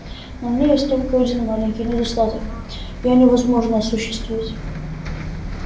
но в ней есть только один маленький недостаток её невозможно осуществить